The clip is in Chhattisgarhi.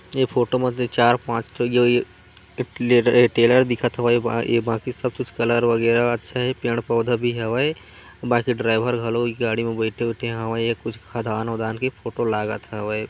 ये फोटो म ए चार पांच ठो ग़गेय इ-टले-ट्रेलर दिखत हवय ऐ बाकि सब चीज कलर वगेरा अच्छा हैं पेड़-पौधा भी हवे बाकि ड्राइवर घलो इ गाड़ी में बैठे-बैठे हवय कुछ खदान वदान की फोटो लागत हवय।